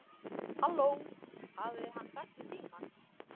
Halló, hafði hann sagt í símann.